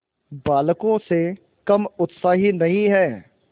बालकों से कम उत्साही नहीं है